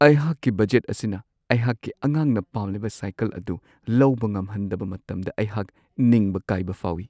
ꯑꯩꯍꯥꯛꯀꯤ ꯕꯖꯦꯠ ꯑꯁꯤꯅ ꯑꯩꯍꯥꯛꯀꯤ ꯑꯉꯥꯡꯅ ꯄꯥꯝꯂꯤꯕ ꯁꯥꯏꯀꯜ ꯑꯗꯨ ꯂꯧꯕ ꯉꯝꯍꯟꯗꯕ ꯃꯇꯝꯗ ꯑꯩꯍꯥꯛ ꯅꯤꯡꯕ ꯀꯥꯏꯕ ꯐꯥꯎꯏ ꯫